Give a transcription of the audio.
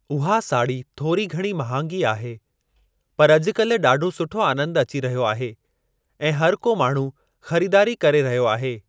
उहा साड़ी थोरी घणी महांगी आहे पर अॼुकाल्हि ॾाढो सुठो आनंद अची रहियो आहे ऐं हर को माण्हू ख़रीदारी करे रहियो आहे।